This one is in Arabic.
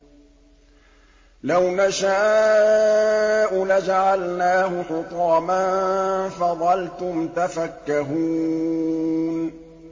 لَوْ نَشَاءُ لَجَعَلْنَاهُ حُطَامًا فَظَلْتُمْ تَفَكَّهُونَ